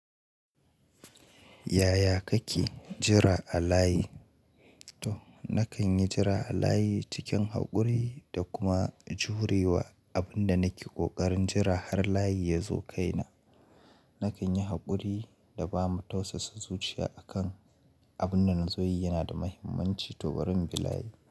Yaya kake jira a layi? To na kan yi jira a layi cikin haƙuri da kuma jurewa abin da nake ƙoƙarin jira har layi yazo kai na. Na kan yi haƙuri da ba ma tausasa zuciya a kan abin da zan zo yi yana da muhimmanci to bari inbi layi.